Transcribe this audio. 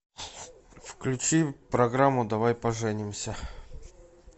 включи программу давай поженимся